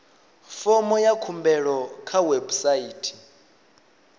fomo ya khumbelo kha website